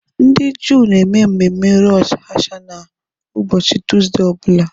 Ndị Juu na-eme mmemme Rosh Hashanah ụbọchị tọọzdee ọ bụla.